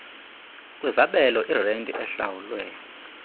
kwizabelo irenti ehlawulwe